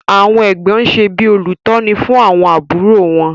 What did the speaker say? Àwọn Ẹ̀gbọ́n ṣe bí olùtọ́ni fún àwọn àbúrò wọn.